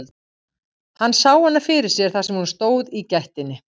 Hann sá hana fyrir sér þar sem hún stóð í gættinni.